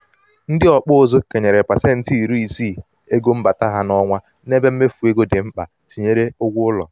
ndị ọkpụ ụzụ kenyere pasenti iri isii ego mbata ha n'ọnwa n'ebe mmefu ego di mkpa tinyere ụgwọ ụlọ.